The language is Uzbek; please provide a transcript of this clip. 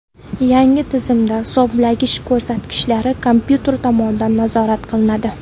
Yangi tizimda hisoblagich ko‘rsatkichlari kompyuter tomonidan nazorat qilinadi.